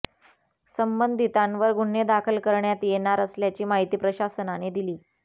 संबंधितांवर गुन्हे दाखल करण्यात येणार असल्याची माहिती प्रशासनाने दिली